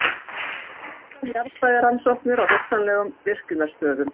Skýrsla um jarðfræðirannsóknir á hugsanlegum virkjunarstöðum.